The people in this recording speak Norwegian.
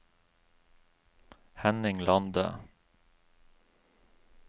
Henning Lande